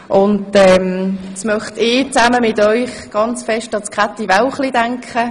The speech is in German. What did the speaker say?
Nun möchte ich mit Ihnen zusammen an Grossrätin Käthi Wälchli denken.